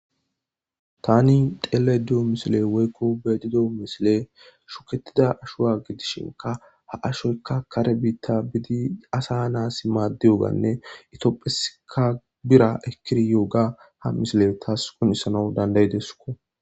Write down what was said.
Tani telayyida diyo missilenni woyikko be'ayidda diyo missilenni shukkettida ashshuwa gidishinkka haa ashoyikka kare bita biddi asa natusi madiyoganne tophphiyasikka birra ekkidyoga haa missileyi tasi qonccisana danida'ideskko.